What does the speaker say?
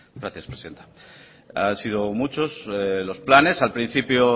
gracias presidenta han sido muchos los planes al principio